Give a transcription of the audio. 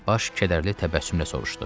Baş kədərli təbəssümlə soruşdu.